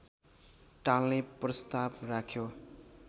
टाल्ने प्रस्ताव राख्यो